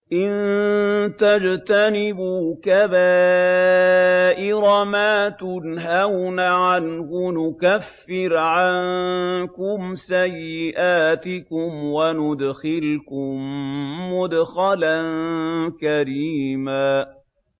إِن تَجْتَنِبُوا كَبَائِرَ مَا تُنْهَوْنَ عَنْهُ نُكَفِّرْ عَنكُمْ سَيِّئَاتِكُمْ وَنُدْخِلْكُم مُّدْخَلًا كَرِيمًا